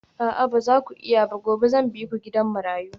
A'a ba za ku iya ba gobe zan bi ku gidan marayu